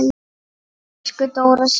Elsku Dóra systir.